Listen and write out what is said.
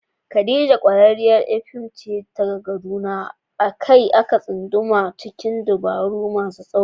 Khadija, ƙwararriyar ƴar fim ce daga Kaduna, a kai a kai ta kan tsunduma cikin dabaru masu tsauri.